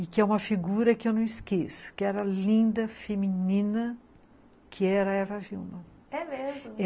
e que é uma figura que eu não esqueço, que era linda, feminina, que era a Eva Wilma. É mesmo?